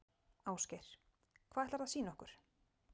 Ásgeir: Hvað ætlarðu að sýna okkur?